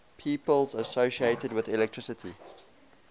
people associated with electricity